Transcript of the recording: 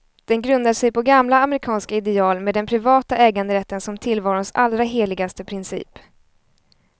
Den grundar sig på gamla amerikanska ideal, med den privata äganderätten som tillvarons allra heligaste princip.